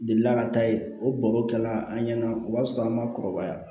Delila ka taa yen o baro kɛla an ɲɛna o b'a sɔrɔ an ma kɔrɔbaya